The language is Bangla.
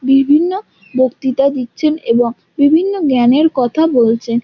বিভিন্ন বক্তৃতা দিচ্ছেন এবং বিভিন্ন জ্ঞানের কথা বলছেন।